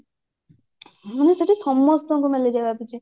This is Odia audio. ମାନେ ସେଠି ସମସ୍ତଙ୍କୁ ମ୍ୟାଲେରିଆ ବ୍ୟାପିଛି